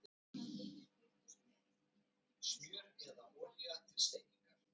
Ég fann að hinir fylgdust með, en þóttist ekki taka eftir því.